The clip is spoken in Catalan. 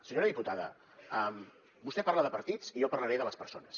senyora diputada vostè parla de partits i jo parlaré de les persones